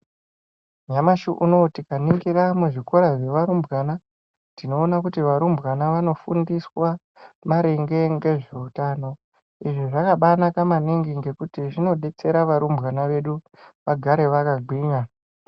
Nyamashi unowu tikaningira muzvikoro zvevarumbwana, tinoona kuti varumbwana vanofundiswa, maringe ngezveutano. Izvi zvakabanaka maningi ngekuti zvinodetsera varumbwana vedu, vagare vakagwinya.